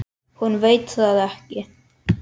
Hún veit það ekki.